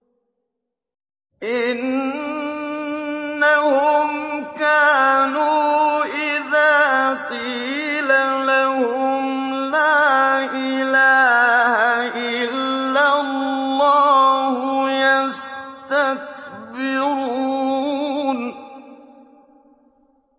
إِنَّهُمْ كَانُوا إِذَا قِيلَ لَهُمْ لَا إِلَٰهَ إِلَّا اللَّهُ يَسْتَكْبِرُونَ